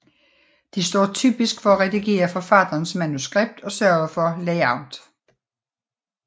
De står typisk for at redigere forfatterens manuskript og sørge for layout